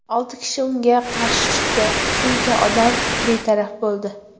Olti kishi unga qarshi chiqdi, shuncha odam betaraf bo‘ldi.